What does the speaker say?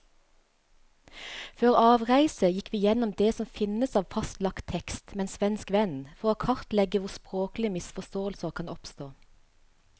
Før avreise gikk vi gjennom det som finnes av fastlagt tekst med en svensk venn, for å kartlegge hvor språklige misforståelser kan oppstå.